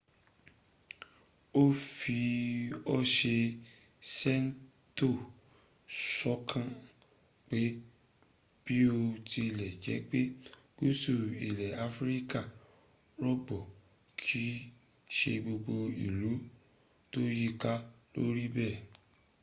fi bí o ṣe ń ṣètò sọ́kàn pé biotilejepe gúúsù ilẹ̀ afirika rọgbọ kìí ṣe gbogbo ìlú tó yíiká ló rí bẹ́ẹ̀